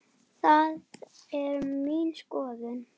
Það er mín skoðun.